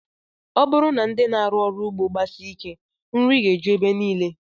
Ọ bụrụ na ndị na-arụ ọrụ ugbo gbasie ike, nri ga-eju ebe niile